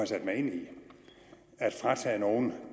sat mig ind i at fratage nogen